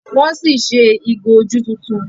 wón sí ṣe ìgò ojú títún